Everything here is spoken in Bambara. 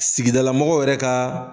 Sigidala mɔgɔw yɛrɛ ka